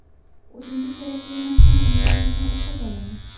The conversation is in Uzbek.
O‘zimga kerakli narsani internetdan o‘qib olaman.